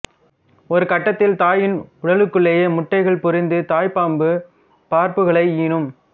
ஒரு கட்டத்தில் தாயின் உடலுக்குள்ளேயே முட்டைகள் பொரிந்து தாய்ப்பாம்பு பார்ப்புகளை ஈனும்